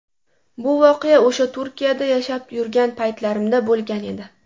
Bu voqea o‘sha Turkiyada yashab yurgan paytlarimda bo‘lgan edi.